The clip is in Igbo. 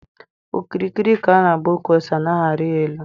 Okirikiri ka a na agba ụkwụ ose anaghị arị ya elu.